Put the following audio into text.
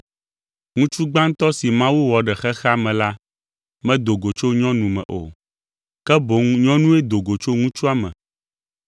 Ŋutsu gbãtɔ si Mawu wɔ ɖe xexea me la medo go tso nyɔnu me o, ke boŋ nyɔnue do go tso ŋutsua me.